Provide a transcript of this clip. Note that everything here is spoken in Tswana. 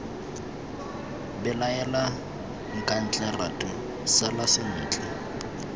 belaela nkatle ratu sala sentle